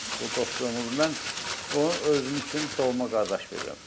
O dostluğumuz, mən onu özüm üçün doğma qardaş bilirəm.